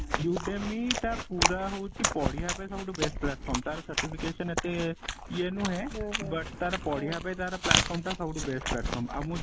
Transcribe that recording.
UDEMI ଟା ପୁରା ହଉଚି ପଢିଆ ପାଇଁ ସବୁଠୁ best platform ତାର certification ଏତେ ଇଏ ନୁହେଁ but ତାର ପଢିବା ପାଇଁ ତାର platform ଟା ସବୁଠୁ best platform ଆଉ ମୁଁ